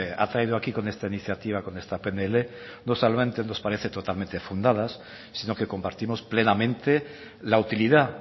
ha traído aquí con esta iniciativa con esta pnl nos parece totalmente fundadas sino que compartimos plenamente la utilidad